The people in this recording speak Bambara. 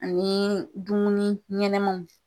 Ani dumuni ɲɛnɛmanw .